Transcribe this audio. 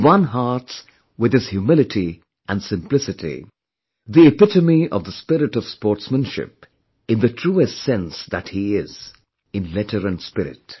He won hearts with his humility and simplicity; the epitome of the spirit of sportsmanship in the truest sense that he is, in letter and spirit